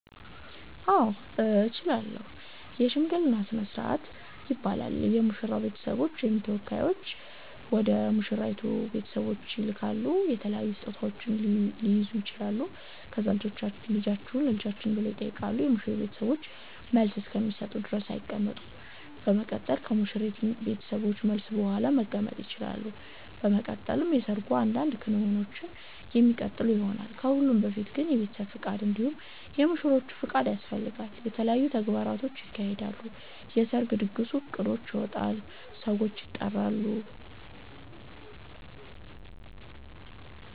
አዎ እችላለሁ የሽምግልና ስርአት ይባላል የሙሽራዉ ቤተሰቦች ወይም ተወካዮች ወደ ሙሽራይቱ ቤተሰቦች ይላካሉ የተለያዩ ስጦታዉች ሊይዙ ይችላሉ ከዛ ልጃችሁን ለልጃችን ብለዉ ይጠይቃሉ የሙሽሪት ቤተሰቦችን መልስ እስከሚሰጡ ድረስ አይቀመጡም በመቀጠል ከሙሽሪት ቤተሰቦች መልስ ቡሃላ መቀመጥ ይቸላሉ። በመቀጠል የሰርጉ አንዳንድ ክንዉኖች የሚቀጥሉ ይሆናል። ከሁሉም በፊት ግን የቤተሰብ ፍቃድ እንዲሁም የሙሽሮቹ ፍቃድ ያስፈልጋል። የተለያዩ ተግባራቶች ይካሄዳሉ የሰርጉ ድግስ እቅዶች ይወጣሉ ሰዎች ይጠራሉ